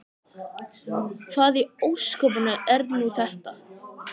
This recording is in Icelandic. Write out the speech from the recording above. Hvað í ósköpunum er nú þetta?